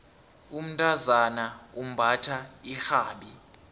umntazana umbatha irhabi